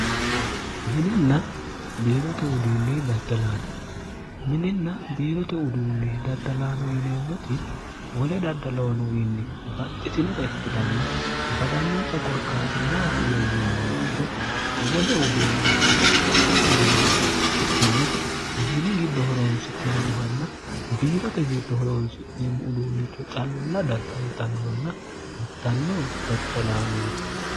dddmininna biirote uduunni daddalaano yineemmoti wole daddaloonowiinni baxxitinota ikkitanna badannonsa qorkaati maati ya yinumma ikkiro wole uduunnicho bapaxxino uduunnicho ikkikkinni mini giddo horoonsi'neemmohanna biirote giddo horoonsi'neemmo uduunnicho calla daddalxannonna hirtanno daddalaanooti